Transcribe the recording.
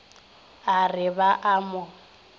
a re ba a mo